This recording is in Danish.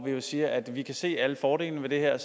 vi jo siger at vi kan se alle fordelene ved det her